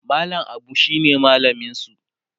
mallam Abu shine mallaminsu